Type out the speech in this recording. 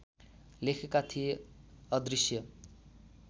लेखेका थिए अदृश्य